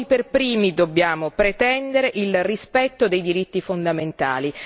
Noi per primi dobbiamo pretendere il rispetto dei diritti fondamentali.